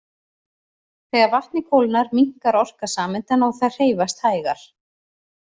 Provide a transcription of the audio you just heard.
Þegar vatnið kólnar minnkar orka sameindanna og þær hreyfast hægar.